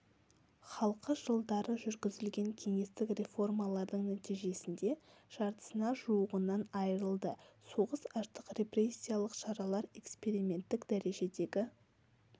халқы жылдары жүргізілген кеңестік реформалардың нәтижесінде жартысына жуығынан айрылды соғыс аштық репрессиялық шаралар эксперименттік дәрежедегі